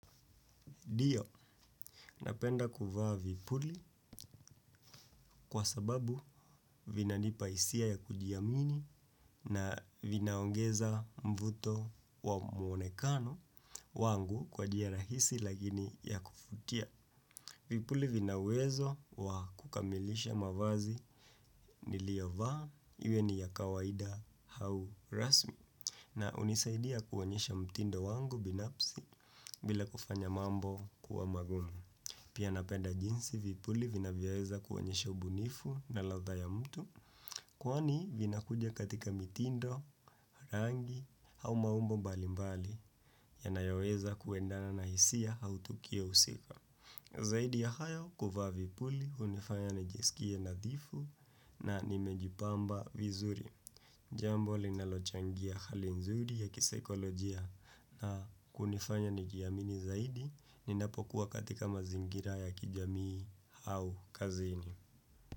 Ndio, napenda kuvaa vizuri, kwa sababu vinanipa hisia ya kujiamini na vinaongeza mvuto wa muonekano wangu kwa njia rahisi lakini ya kuvutia. Vipuli vinauwezo wa kukamilisha mavazi niliovaa, iwe ni ya kawaida au rasmi na unisaidia kuonyesha mtindo wangu binafsi bila kufanya mambo kuwa magumu. Pia napenda jinsi vipuli vinavyoweza kuonyesha ubunifu na ladhaa ya mtu, kwani vina kuja katika mitindo, rangi au maumbo mbali mbali yanayoweza kuendana na hisia au tukio husika. Zaidi ya hayo, kuvaa vipuli, hunifanya nijiskie nadhifu na nimejipamba vizuri. Jambo linalochangia hali nzuri ya kisaikolojia na kunifanya nijiamini zaidi ninapokuwa katika mazingira ya kijamii au kazini.